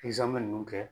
ninnu kɛ